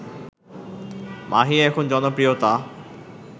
মাহি এখন জনপ্রিয়তা